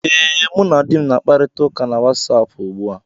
Ee, mụ na di m na-akparịta ụka ugbu a na Wasapụ